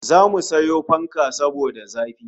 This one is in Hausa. Zamu sayo fanka saboda zafi